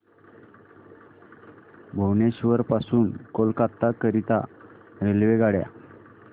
भुवनेश्वर पासून कोलकाता करीता रेल्वेगाड्या